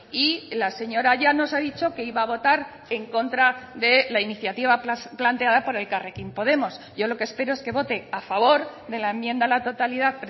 y la señora llanos ha dicho que iba a votar en contra de la iniciativa planteada por elkarrekin podemos yo lo que espero es que vote a favor de la enmienda a la totalidad